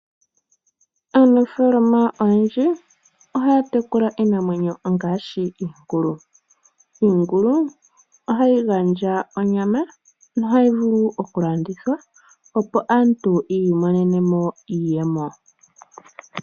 Aanafaalama oyendji ohaya tekula iinamwenyo ngaashi iingulu. Iingulu ohayi gandja onyama nohayi vulu okulandithwa, opo aantu yi imonene mo iiyemo.